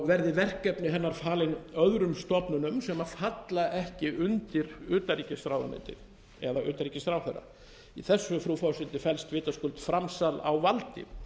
verði verkefni hennar falin öðrum stofnunum sem falla ekki undir utanríkisráðuneytið eða utanríkisráðherra í þessu frú forseti felst vitaskuld framsal á valdi